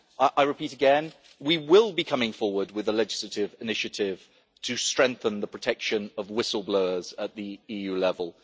I repeat again that we will be coming forward with a legislative initiative to strengthen the protection of whistle-blowers at the EU level.